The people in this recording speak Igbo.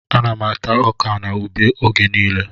Ana m ata ọkà na ube oge niile